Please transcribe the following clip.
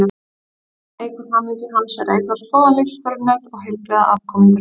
Annað sem eykur hamingju hans er að eignast góðan lífsförunaut og heilbrigða afkomendur.